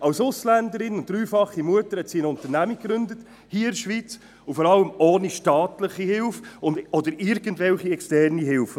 Als Ausländerin und dreifache Mutter hat sie eine Unternehmung gegründet, hier in der Schweiz, und vor allem ohne staatliche oder sonstige externe Hilfe.